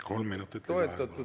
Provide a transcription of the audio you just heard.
Kolm minutit lisaaega, palun!